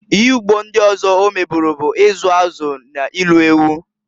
Ihe ugbo ndị ọzọ ọ meburu bụ izu azụ na ilu ewu.